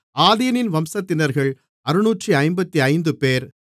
ஆதீனின் வம்சத்தினர்கள் 655 பேர்